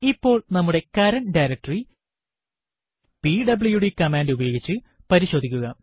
ഇപ്പോൾ നമ്മുടെ current directory PWD command ഉപയോഗിച്ച് പരിശോധിക്കുക